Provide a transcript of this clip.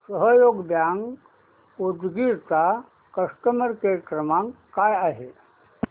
सहयोग बँक उदगीर चा customer care क्रमांक काय आहे